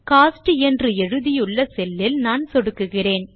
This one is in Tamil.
கோஸ்ட் என்று எழுதியுள்ள செல்லில் நான் சொடுக்குகிறேன்